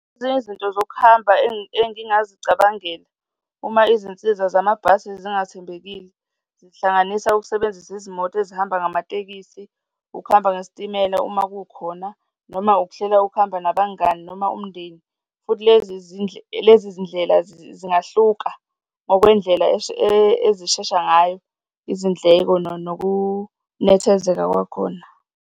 Ezinye izinto zokuhamba engingazicabangela uma izinsiza zamabhasi zingathembekile, zihlanganisa ukusebenzisa izimoto ezihamba ngamatekisi, ukuhamba ngesitimela uma kukhona noma ukuhlela ukuhamba nabangani noma umndeni. Futhi lezi lezi zindlela zingahluka ngokwendlela ezisheshayo ngayo, izindleko nokunethezeka kwakhona.